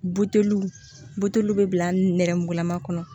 Buteliw buteliw bɛ bila nɛrɛmugumalama kɔnɔ